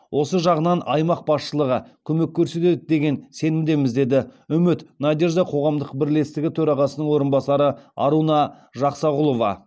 осы жағынан аймақ басшылығы көмек көрсетеді деген сенімдеміз деді үміт надежда қоғамдық бірлестігі төрағасының орынбасары аруна жақсағұлова